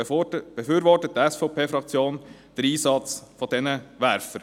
Deshalb befürwortet die SVP-Fraktion den Einsatz dieser Werfer.